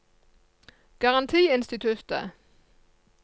garantiinstituttet